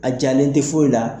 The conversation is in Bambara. A jalen tɛ foyi la.